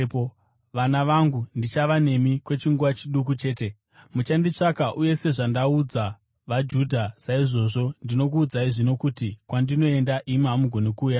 “Vana vangu, ndichava nemi kwechinguva chiduku chete. Muchanditsvaka, uye sezvandaudza vaJudha, saizvozvo ndinokuudzai zvino kuti: Kwandinoenda, imi hamugoni kuuyako.